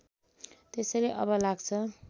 त्यसैले अब लाग्छ